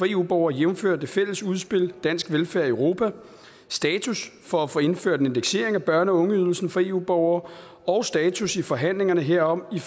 eu borgere jævnfør det fælles udspil dansk velfærd i europa status for at få indført en indeksering af børne og ungeydelsen for eu borgere og status i forhandlingerne herom i